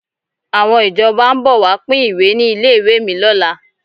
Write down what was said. Àwọn ìjọba ń bọ̀ wá pín ìwé ní ilé ìwé mi lọ́la.